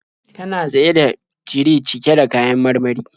Tana tsaye da tire cike da kayan marmari.